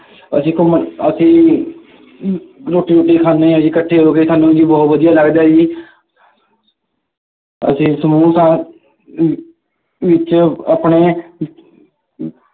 ਅਸੀਂ ਘੁੰਮਣ, ਅਸੀਂ ਰੋਟੀ ਰੁਟੀ ਖਾਦੇ ਹਾਂ ਜੀ ਇਕੱਠੇ ਹੋ ਕੇ, ਸਾਨੂੰ ਜੀ ਬਹੁਤ ਵਧੀਆ ਲੱਗਦਾ ਜੀ ਅਸੀਂ ਸਮੂਹਾਂ ਅਮ ਵਿੱਚ ਆਪਣੇ ਅਹ ਅਹ